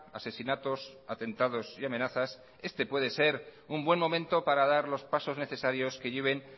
asesinatos atentados y amenazas este puede ser un buen momento para dar los pasos necesarios que lleven